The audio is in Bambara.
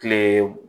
Kile